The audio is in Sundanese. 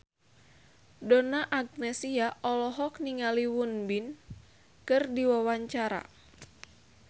Donna Agnesia olohok ningali Won Bin keur diwawancara